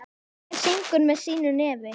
Hver syngur með sínu nefi.